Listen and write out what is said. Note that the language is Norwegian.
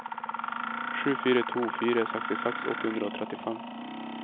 sju fire to fire sekstiseks åtte hundre og trettifem